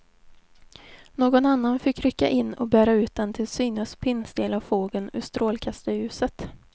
Någon annan fick rycka in och bära ut den till synes pinnstela fågeln ur strålkastarljuset.